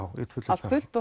allt fullt